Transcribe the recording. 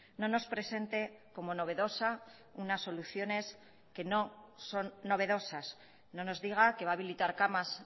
no nos presente como novedosa unas soluciones que no son novedosas no nos diga que va a habilitar camas